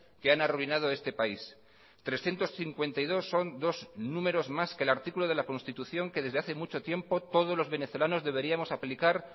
que han arruinado este país trescientos cincuenta y dos son dos números más que el artículo de la constitución que desde hace mucho tiempo todos los venezolanos deberíamos aplicar